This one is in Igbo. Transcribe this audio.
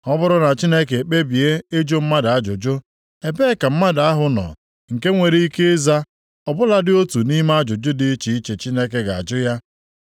Ọ bụrụ na Chineke ekpebie ịjụ mmadụ ajụjụ, ebee ka mmadụ ahụ nọ nke nwere ike ịza ọ bụladị otu nʼime ajụjụ dị iche iche Chineke ga-ajụ ya?